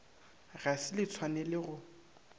ga se le tshwanele go